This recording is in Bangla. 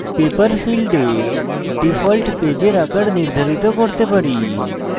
paper ফীল্ডে ডিফল্ট paper আকার নির্ধারিত করতে পারি